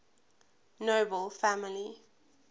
nobel family